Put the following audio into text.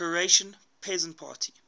croatian peasant party